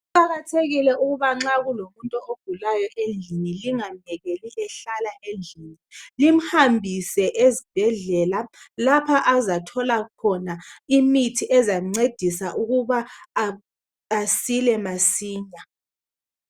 Kuqakathekile ukubanxakulomuntu ongezwakahle endlini lingamhlalisi endlini limhambise ezibhedlela lapha azathola khona imithi ezamncedisa ukuba asile masinya